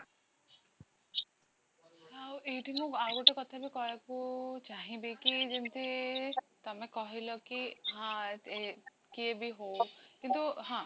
ଆଉ ଏଇଠି ମୁଁ ଆଉ ଗୋଟେ କଥାବି କହିବାକୁ ଚାହିଁବିକି ଯେମିତି ତମେ କହିଲା କି ହଁ କିଏବି ହଉ କିନ୍ତୁ ହଁ